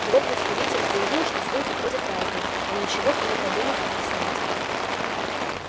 его представитель заявил что слухи ходят разные но ничего и не подумал объяснять